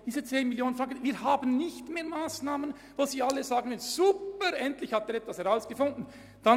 Es gibt keine Massnahmen mehr, bei denen alle sagen, es sei toll, was der Erziehungsdirektor herausgefunden habe.